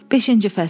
Beşinci fəsil.